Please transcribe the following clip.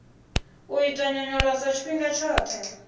u ita nyonyoloso tshifhinga tshoṱhe